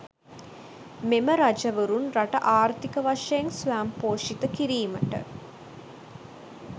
මෙම රජවරුන් රට ආර්ථික වශයෙන් ස්වයංපෝෂිත කිරීමට